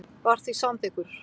var því samþykkur.